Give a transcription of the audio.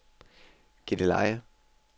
Gilleleje